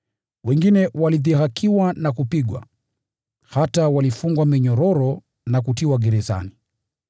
Wengine walidhihakiwa na kupigwa, hata walifungwa minyororo na kutiwa gerezani.